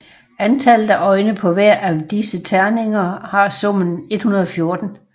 Antallet af øjne på hver av disse terninger har summen 114